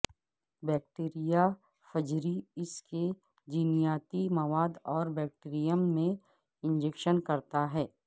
بیکٹیریافجری اس کے جینیاتی مواد کو بیکٹیریم میں انجکشن کرتا ہے